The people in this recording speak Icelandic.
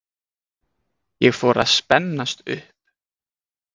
Ég fór að spennast upp.